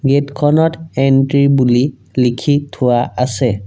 Gate খনত entry বুলি লিখি থোৱা আছে।